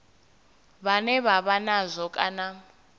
vhane vha vha nazwo kana